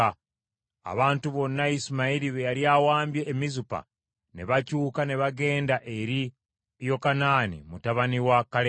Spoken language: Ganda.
Abantu bonna Isimayiri be yali awambye e Mizupa ne bakyuka ne bagenda eri Yokanaani mutabani wa Kaleya.